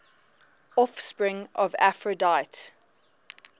offspring of aphrodite